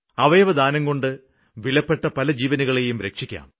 അവയവദാനംകൊണ്ട് വിലപ്പെട്ട പല ജീവനുകളേയും രക്ഷിക്കാം